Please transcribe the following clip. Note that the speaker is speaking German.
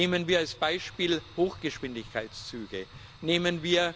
Nehmen wir als Beispiel Hochgeschwindigkeitszüge, nehmen wir